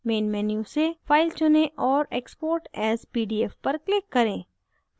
main menu से file चुनें और export as pdf पर click करें